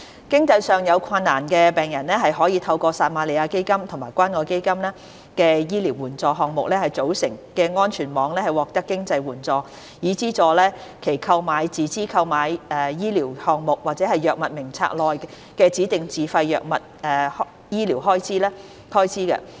經濟上有困難的病人可透過由撒瑪利亞基金和關愛基金醫療援助項目組成的安全網獲得經濟援助，以資助其購買"自資購買醫療項目"或藥物名冊內的指定自費藥物的醫療開支。